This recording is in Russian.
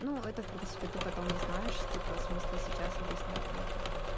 ну это в принципе ты потом узнаешь типа смысла сейчас объяснять нет